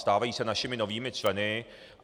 Stávají se našimi novými členy.